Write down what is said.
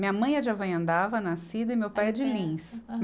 Minha mãe é de Avanhandava, nascida, e meu pai é de Lins.